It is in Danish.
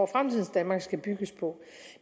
fremtidens danmark skal bygges på